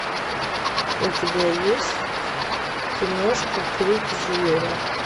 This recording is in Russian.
у тебя есть киношка крик зверя